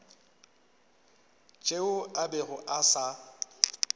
tšeo a bego a sa